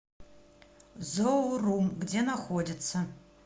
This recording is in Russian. зоорум где находится